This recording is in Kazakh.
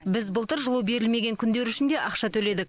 біз былтыр жылу берілмеген күндер үшін де ақша төледік